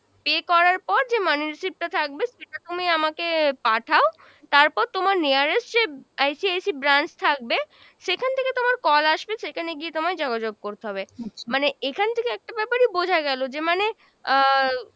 pay করার পর যে money receipt টা থাকবে সেটা তুমি আমাকে পাঠাও, তারপর তোমার nearest যে ICIC branch থাকবে সেখান থেকে তোমার call আসবে, সেখানে গিয়ে তোমায় যোগাযোগ করতে হবে। মানে এখান থেকে একটা ব্যাপারই বোঝা গেল যে মানে আহ